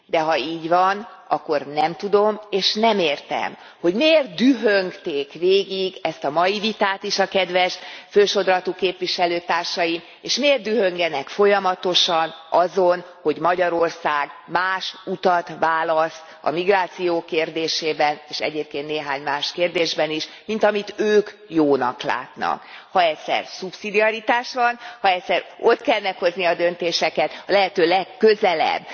De ha így van, akkor nem tudom, és nem értem, hogy miért dühöngték végig ezt a mai vitát is a kedves fősodratú képviselőtársaink, és miért dühöngenek folyamatosan azon, hogy Magyarország más utat választ a migráció kérdésében, és egyébként néhány más kérdésben is, mint amit ők jónak látnak. Ha egyszer szubszidiaritás van, ha egyszer ott kell meghozni a döntéseket, a lehető legközelebb